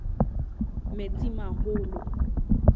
metsimaholo